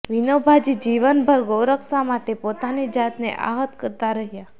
વિનોભાજી જીવનભર ગૌરક્ષા માટે પોતાની જાતને આહત કરતાં રહ્યાં